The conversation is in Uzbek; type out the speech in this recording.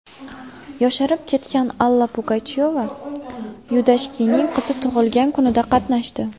Yosharib ketgan Alla Pugachyova Yudashkinning qizi tug‘ilgan kunida qatnashdi.